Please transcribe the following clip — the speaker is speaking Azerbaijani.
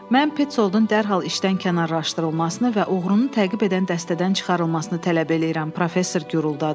Mən Peçoldtun dərhal işdən kənarlaşdırılmasını və oğrunu təqib edən dəstədən çıxarılmasını tələb eləyirəm, professor guruldadı.